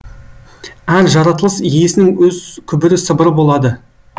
әр жаратылыс иесінің өз күбір сыбыры болады